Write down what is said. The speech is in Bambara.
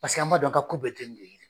Paseke an b'a dɔn a ka ko bɛɛ te nun ye..